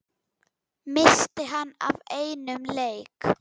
missti hann af einum leik?